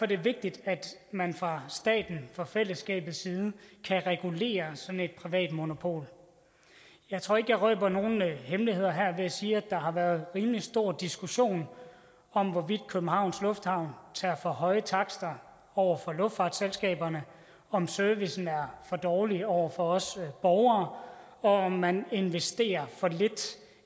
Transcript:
det vigtigt at man fra statens fra fællesskabets side kan regulere sådan et privat monopol jeg tror ikke jeg røber nogen hemmeligheder her ved at sige at der har været rimelig stor diskussion om hvorvidt københavns lufthavn tager for høje takster over for luftfartsselskaberne om servicen er for dårlig over for os borgere og om man investerer for lidt